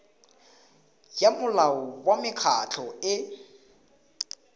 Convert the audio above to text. ya molao wa mekgatlho e